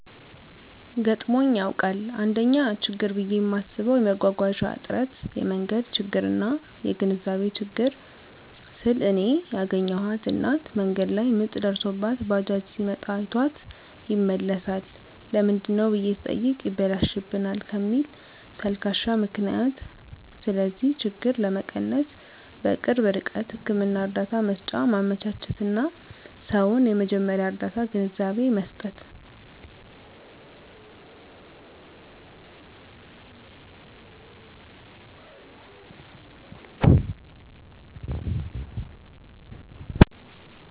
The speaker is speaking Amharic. ገጥሞኝ ያዉቃል: 1ኛ :ችግር ብየ ማስበዉ የመጓጓዣ እጥረት የመንገድ ችግርና : (የግንዛቤ ችግር) ስል እኔ ያገኘኋት እናት መንገድ ላይ ምጥ ደርሶባት ባጃጅ ሲመጣ አይቷት ይመለሳል ለምንድነው ብየ ስጠይቅ ይበላሽብናል ከሚል ተልካሻ ምክንያት ስለዚህ ችግር ለመቀነስ_በቅርብ ርቀት ህክምና እርዳታ መሰጫ ማመቻቸትና: ሰዉን የመጀመርያ ርዳታ ግንዛቤ መስጠት።